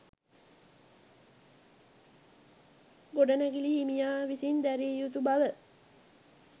ගොඩනැගිලි හිමියා විසින් දැරිය යුතු බව